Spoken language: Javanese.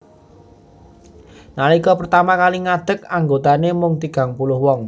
Nalika pertama kali ngadeg anggotane mung tigang puluh wong